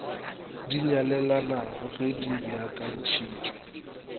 di nyalelanago ge di beakantphitpwe